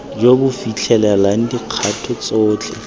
jo bo fitlhelelang dikgato tsotlhe